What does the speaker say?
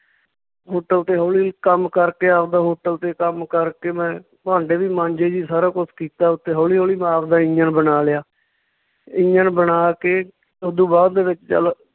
Hotel ਤੇ ਹੌਲੀ ਕੰਮ ਕਰਕੇ ਆਵਦਾ hotel ਤੇ ਕੰਮ ਕਰਕੇ ਮੈਂ ਭਾਂਡੇ ਵੀ ਮਾਂਜੇ ਜੀ, ਸਾਰਾ ਕੁਛ ਕੀਤਾ ਉੱਥੇ ਹੌਲੀ ਹੌਲੀ ਮੈਂ ਆਵਦਾ ਇੰਜਣ ਬਣਾ ਲਿਆ ਇੰਜਣ ਬਣਾ ਕੇ ਓਦੂ ਬਾਅਦ ਦੇ ਵਿੱਚ ਚੱਲ